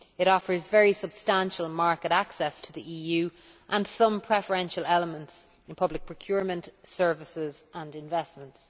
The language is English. It offers very substantial market access to the EU and some preferential elements in public procurement, services and investments.